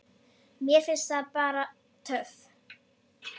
Mér finnst það bara töff.